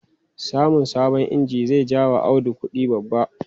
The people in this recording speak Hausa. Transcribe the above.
Samun sabon inji zai ja wa Audu kudi babba.